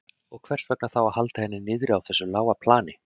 Og hvers vegna þá að halda henni niðri á þessu lága plani?